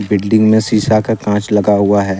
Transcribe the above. Building में शीशा का कांच लगा हुआ है।